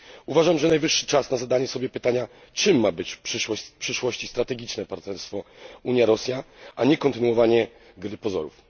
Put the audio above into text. Uważam, że najwyższy czas na zadanie sobie pytania, czym ma być w przyszłości strategiczne partnerstwo Unia Rosja, a nie kontynuowanie gry pozorów.